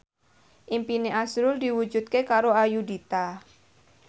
impine azrul diwujudke karo Ayudhita